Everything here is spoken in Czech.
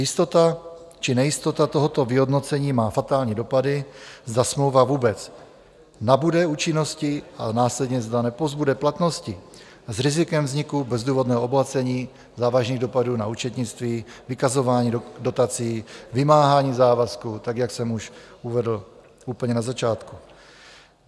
Jistota či nejistota tohoto vyhodnocení má fatální dopady, zda smlouva vůbec nabude účinnosti, a následně zda nepozbude platnosti s rizikem vzniku bezdůvodného obohacení, závažných dopadů na účetnictví, vykazování dotací, vymáhání závazků, tak jak jsem už uvedl úplně na začátku.